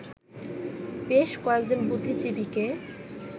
বেশ কয়েকজন বুদ্ধিজীবীকে